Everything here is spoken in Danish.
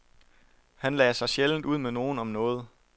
Han lagde sig sjældent ud med nogen om noget.